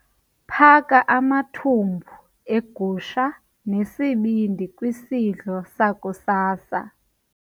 Phaka amathumbu egusha nesibindi kwisidlo sakusasa.